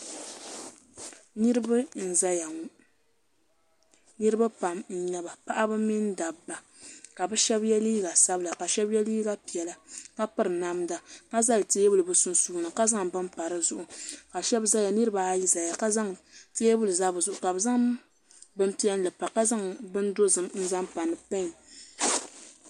niriba n-zaya ŋɔ niriba pam n-nyɛ ba paɣiba mini dabba ka bɛ shɛba ye liiga sabila ka shɛba ye liiga piɛla ka piri namda ka zali teebuli bɛ sunsuuni ka zaŋ bini pa di zuɣu ka niriba ayi zaya ka teebuli za bɛ sani ka bɛ zaŋ bimpiɛlli pa ka zaŋ bindozim n-zaŋ pa ni pɛn